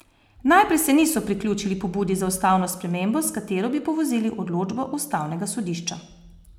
Najprej se niso priključili pobudi za ustavno spremembo, s katero bi povozili odločbo ustavnega sodišča.